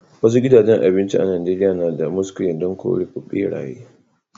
Wasu gidajen abinci a'Nijeriya na da muskule dan kore berayye.